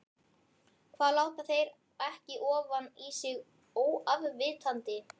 Hvað láta þeir ekki ofan í sig óafvitandi?